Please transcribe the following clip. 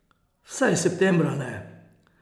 Vsaj septembra ne.